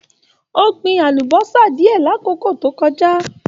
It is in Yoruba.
O gbìn àlùbọ́sà diẹ l'akoko to kọjá.